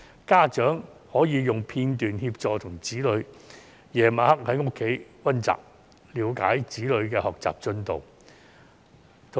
家長晚上可以利用片段在家中協助子女溫習，了解子女的學習進度。